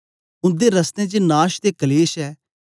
उन्दे रस्तें च नाश ते कलेश ऐ